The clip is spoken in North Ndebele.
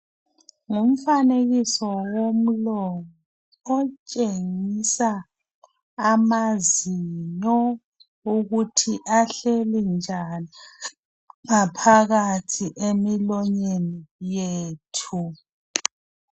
Umfanekiso womlomo otshengisela ukuthi amazinyo ukuthi ahleli njani ngaphakathi emilonyeni yethu.